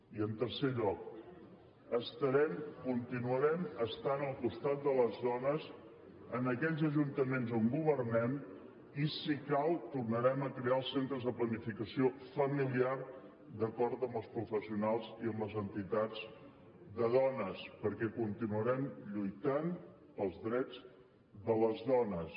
i en tercer lloc estarem continuarem estant al costat de les dones en aquells ajuntaments on governem i si cal tornarem a crear els centres de planificació familiar d’acord amb els professionals i amb les entitats de dones perquè continuarem lluitant pels drets de les dones